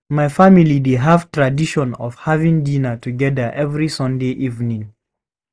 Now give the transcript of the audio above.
My family dey have tradition of having dinner together every Sunday evening.